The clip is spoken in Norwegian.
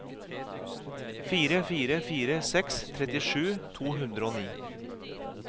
fire fire fire seks trettisju to hundre og ni